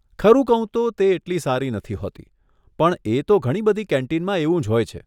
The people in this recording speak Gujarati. ખરું કહું તો તે એટલી સારી નથી હોતી, પણ એ તો ઘણી બધી કેન્ટીનમાં એવું જ હોય છે.